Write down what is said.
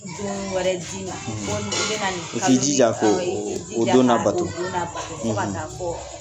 Dumuni wɛrɛ di ma. Walima i bi na nin kali in i k'i jija ko don la bato ko don la bato fo ka taa fɔ